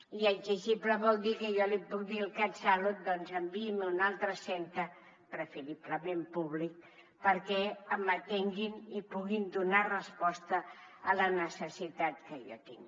i exigible vol dir que jo li puc dir al catsalut doncs enviï’m a un altre centre preferiblement públic perquè m’atenguin i puguin donar resposta a la necessitat que jo tinc